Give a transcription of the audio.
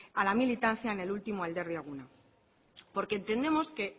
a la militancia en el último alderdi eguna porque entendemos que